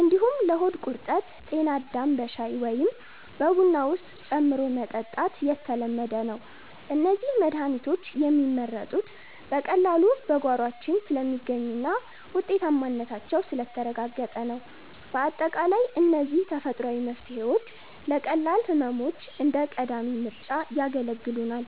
እንዲሁም ለሆድ ቁርጠት 'ጤናዳም' በሻይ ወይም በቡና ውስጥ ጨምሮ መጠጣት የተለመደ ነው። እነዚህ መድሃኒቶች የሚመረጡት በቀላሉ በጓሯችን ስለሚገኙና ውጤታማነታቸው ስለተረጋገጠ ነው። ባጠቃላይ እነዚህ ተፈጥሯዊ መፍትሄዎች ለቀላል ህመሞች እንደ ቀዳሚ ምርጫ ያገለግሉናል።